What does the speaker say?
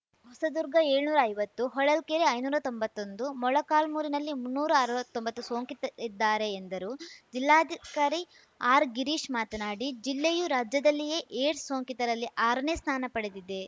ಹೊಸದುರ್ಗ ಏಳ್ನೂರೈವತ್ತು ಹೊಳಲ್ಕೆರೆ ಐನೂರಾ ತೊಂಬತ್ತೊಂದು ಮೊಳಕಾಲ್ಮುರಿನಲ್ಲಿ ಮುನ್ನೂರ ಅವತ್ತೊಂಬತ್ತು ಸೋಂಕಿತರಿದ್ದಾರೆ ಎಂದರು ಜಿಲ್ಲಾಧಿಕಾರಿ ಆರ್‌ಗಿರೀಶ್‌ ಮಾತನಾಡಿ ಜಿಲ್ಲೆಯೂ ರಾಜ್ಯದಲ್ಲಿಯೇ ಏಡ್ಸ್‌ ಸೋಂಕಿತರಲ್ಲಿ ಆರನೇ ಸ್ಥಾನ ಪಡೆದಿದೆ